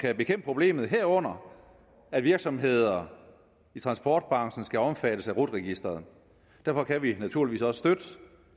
at bekæmpe problemet herunder at virksomheder i transportbranchen skal omfattes af rut registret derfor kan vi naturligvis støtte